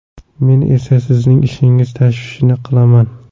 Men esa sizning ishingiz tashvishini qilaman.